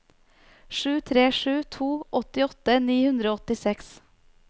sju tre sju to åttiåtte ni hundre og åttiseks